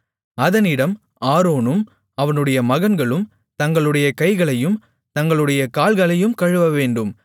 அதனிடம் ஆரோனும் அவனுடைய மகன்களும் தங்களுடைய கைகளையும் தங்களுடைய கால்களையும் கழுவவேண்டும்